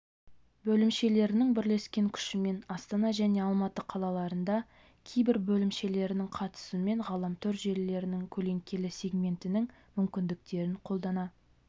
бөлімшелерінің бірлескен күшімен астана және алматы қалаларында кибер бөлімшелерінің қатысуымен ғаламтор-желілерінің көлеңкелі сегментінің мүмкіндіктерін қолдана